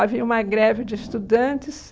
Havia uma greve de estudantes.